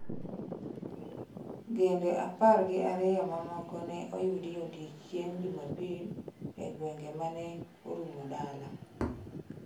"Gende apar gi ariyo mamoko ne oyudi odiechieng' Jumapil e gwenge mane orumo dala."""